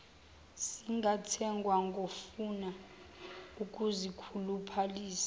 zingathengwa ngofuna ukuzikhuluphalisa